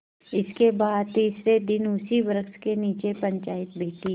इसके बाद तीसरे दिन उसी वृक्ष के नीचे पंचायत बैठी